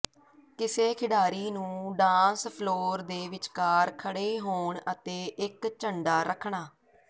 ਕਿਸੇ ਖਿਡਾਰੀ ਨੂੰ ਡਾਂਸ ਫਲੋਰ ਦੇ ਵਿਚਕਾਰ ਖੜੇ ਹੋਣ ਅਤੇ ਇੱਕ ਝੰਡਾ ਰੱਖਣਾ